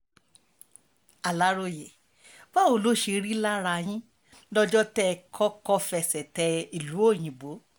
aláròye báwo ló ṣe rí lára yín lọ́jọ́ tẹ́ ẹ kọ́kọ́ fẹsẹ̀ tẹ ìlú òyìnbó